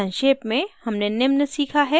संक्षेप में हमने निम्न सीखा हैः